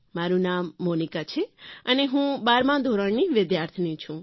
મારૂં નામમોનિકા છે અને હું બારમા ધોરણની વિદ્યાર્થિની છું